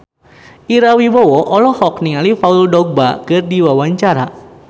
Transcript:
Ira Wibowo olohok ningali Paul Dogba keur diwawancara